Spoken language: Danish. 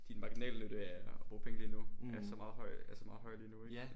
Din marginalnytte er at bruge penge lige nu er så meget høj er så meget højere ikke?